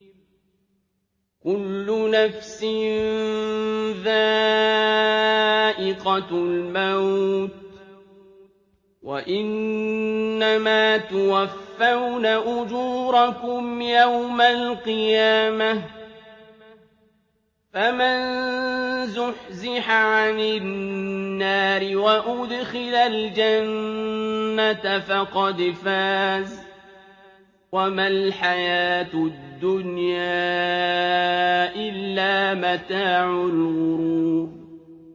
كُلُّ نَفْسٍ ذَائِقَةُ الْمَوْتِ ۗ وَإِنَّمَا تُوَفَّوْنَ أُجُورَكُمْ يَوْمَ الْقِيَامَةِ ۖ فَمَن زُحْزِحَ عَنِ النَّارِ وَأُدْخِلَ الْجَنَّةَ فَقَدْ فَازَ ۗ وَمَا الْحَيَاةُ الدُّنْيَا إِلَّا مَتَاعُ الْغُرُورِ